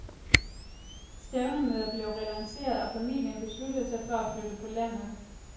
Stævnemøder blev relanceret, og familien besluttede sig for at flytte på landet.